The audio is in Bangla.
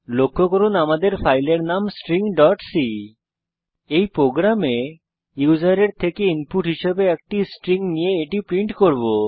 লক্ষ্য করুন আমাদের ফাইলের নাম stringসি এই প্রোগ্রামে আমরা ইউসারের থেকে ইনপুট হিসাবে একটি স্ট্রিং নিয়ে এটি প্রিন্ট করব